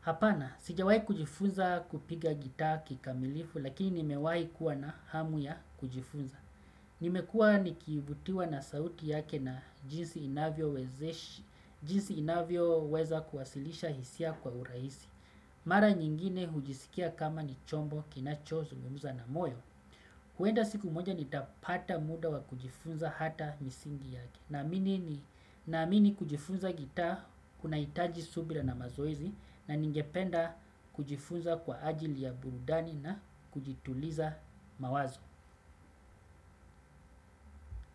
Hapana, sijawai kujifunza kupiga gitaa kikamilifu lakini nimewai kuwa na hamu ya kujifunza. Nimekuwa nikivutiwa na sauti yake na jinsi inavyoweza kuwasilisha hisia kwa urahisi. Mara nyingine hujisikia kama ni chombo kinacho zungumza na moyo huenda siku moja nitapata muda wa kujifunza hata misingi yake. Naamini kujifunza gitaa kunahitaji subira na mazoezi. Na ningependa kujifunza kwa ajili ya burudani na kujituliza mawazo.